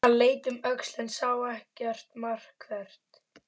Hann leit um öxl en sá ekkert markvert.